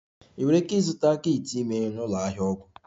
Ị nwere ike ịzụta kit ime na ụlọ ahịa ọgwụ